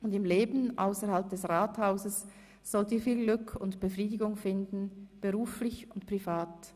Und im Leben ausserhalb des Rathauses sollt ihr viel Glück und Befriedigung finden, beruflich und privat.